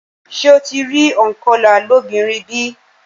Ṣé o ti rí ònkọlà lóbìnrin bí?